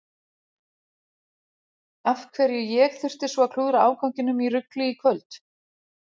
Af hverju ég þurfti svo að klúðra afganginum í rugli í kvöld.